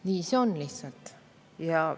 Nii see lihtsalt on.